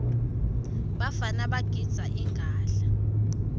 bafana bagidza inqadla